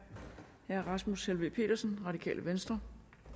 herre rasmus helveg petersen det radikale venstre